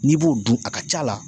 N'i b'o dun a ka ca la